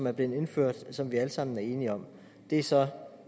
er blevet indført som vi alle sammen enige om det er så